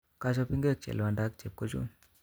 Kochop ingwek chelwanda ak chepkochun